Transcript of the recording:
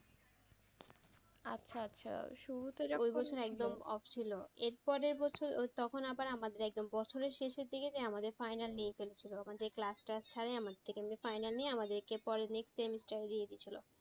ওই বছর একদম off ছিলো এর পরের বছর তখন আবার আমাদের একদম বছরের শেষের দিকে আমাদের যে final নিয়ে ফেলছিলো আমাদের নিয়ে আমাদের পরে next semester এ দিয়ে দিয়েছিলো।